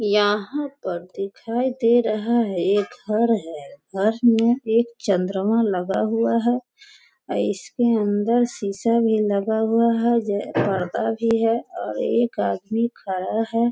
यहाँ पर दिखाई दे रहा है एक घर है घर में एक चंद्रमा लगा हुआ है अ इसके अन्दर शीशा भी लगा हुआ है जे पर्दा भी है और एक आदमी खड़ा है।